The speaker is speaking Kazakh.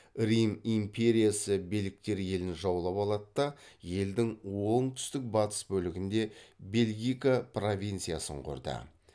рим империясы белгтер елін жаулап алады да елдің оңтүстік батыс бөлігінде бельгика провинциясын құрды